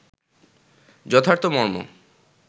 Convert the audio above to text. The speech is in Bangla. যথার্থ মর্ম